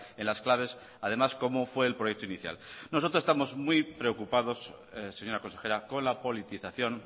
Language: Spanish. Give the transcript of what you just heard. en las claves además como fue el proyecto inicial nosotros estamos muy preocupados señora consejera con la politización